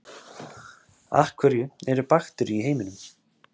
af hverju eru bakteríur í heiminum